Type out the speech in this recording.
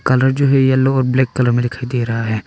Colour जो है yellow और ब्लैक कलर में दिखाई दे रहा है।